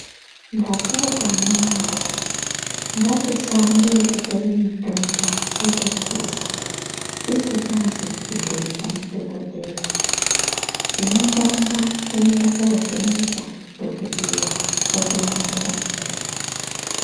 Ndapota amunawee, ngatisaambe ekutore mitombo totophuza, tisikazi kubhuirwa ndidhokodheya. Chinotanga kuenda kovhenekwa ndidhokodheya, otironzera mitombo.